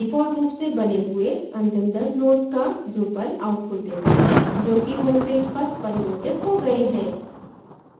default रूप से बने हुए अंतिम 10 nodes का drupal outputs देता है जो कि homepage पर परिवर्तित हो गए हैं